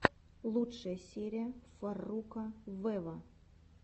лучшая серия фарруко вево